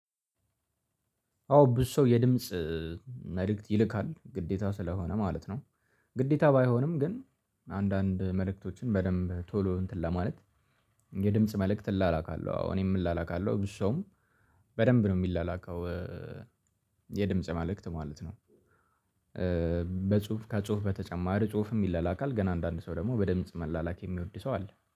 አዎ ብዙ ሰው የድምጽ መልእክት ይልካል ግዴታ ስለሆነ ማለት ነው። ግዴታ ባይሆንም ግን አንዳንድ መልእክቶችን በደንብ ቶሎ እንትን ለማለት የድምጽ መልእክት እላላካለሁ አዎ እኔም ላላካለሁ ብዙ ሰውም በደንብ ነው የሚላካው። የድምጽ መልክት ማለት ነው። በጽሁፍ ከጽሁፍ በተጨማሪ ጽሁፍም ይላል አካል ገና አንዳንድ ሰው ደግሞ በድምጽ መላላክ የሚወድ ሰው አለ